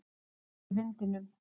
Maður í vindinum.